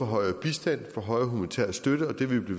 højere bistand og højere humanitær støtte og det vil vi